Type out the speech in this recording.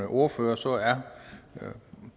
ordfører som er herre